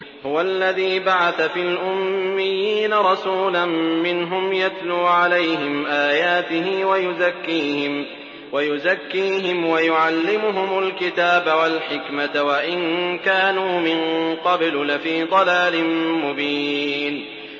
هُوَ الَّذِي بَعَثَ فِي الْأُمِّيِّينَ رَسُولًا مِّنْهُمْ يَتْلُو عَلَيْهِمْ آيَاتِهِ وَيُزَكِّيهِمْ وَيُعَلِّمُهُمُ الْكِتَابَ وَالْحِكْمَةَ وَإِن كَانُوا مِن قَبْلُ لَفِي ضَلَالٍ مُّبِينٍ